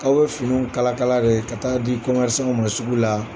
K'aw bɛ finiw kala kala de ka taa di kɔmɛrisanw ma sugu la.